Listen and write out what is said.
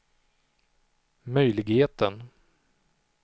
möjligheten